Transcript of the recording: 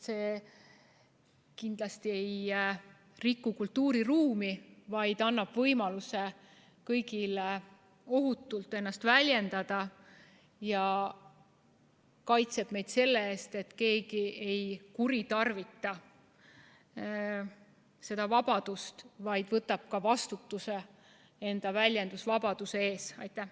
See kindlasti ei riku kultuuriruumi, vaid annab võimaluse kõigil ohutult ennast väljendada ja kaitseb meid selle eest, et keegi ei kuritarvitaks seda vabadust, vaid võtaks enda väljendusvabaduse eest ka vastutuse.